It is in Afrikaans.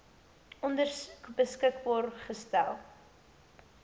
ondersoek beskikbaar gestel